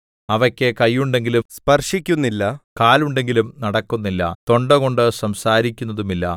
അവയ്ക്കു കൈയുണ്ടെങ്കിലും സ്പർശിക്കുന്നില്ല കാലുണ്ടെങ്കിലും നടക്കുന്നില്ല തൊണ്ട കൊണ്ട് സംസാരിക്കുന്നതുമില്ല